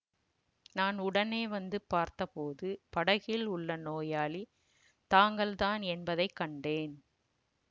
நான் உடனே வந்து பார்த்த போது படகில் உள்ள நோயாளி தாங்கள்தான் என்பதை கண்டேன்